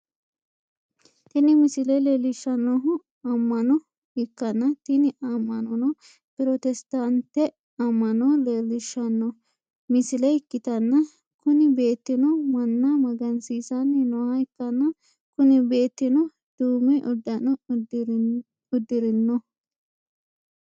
Tini misile leellishshannohu amma'no ikkanna, tini amma'nono protesitaante amma'no leellishshanno misile ikkitanna, kuni beettino manna magansiissanni nooha ikkanna, kuni beettino duume uddano uddirinoho.